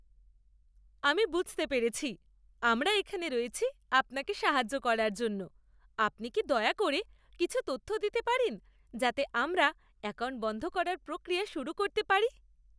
আমি বুঝতে পেরেছি। আমরা এখানে রয়েছি আপনাকে সাহায্য করার জন্য। আপনি কি দয়া করে কিছু তথ্য দিতে পারেন যাতে আমরা অ্যাকাউন্ট বন্ধ করার প্রক্রিয়া শুরু করতে পারি?